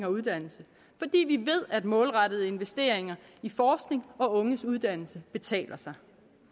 og uddannelse fordi vi ved at målrettede investeringer i forskning og unges uddannelse betaler sig